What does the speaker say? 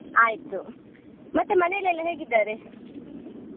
ಆಯ್ತು. ಮತ್ತೇ ಮನೇಲೆಲ್ಲಾ ಹೇಗಿದ್ದಾರೆ?